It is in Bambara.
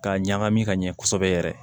K'a ɲagami ka ɲɛ kosɛbɛ yɛrɛ